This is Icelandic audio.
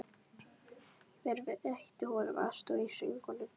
Hver veitti honum aðstoð í söngnum?